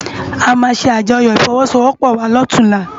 Amá sé ájòyò ifòwòsówòpò wá lòtúnlá